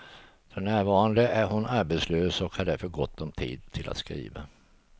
För närvarande är hon arbetslös och har därför gott om tid till att skriva.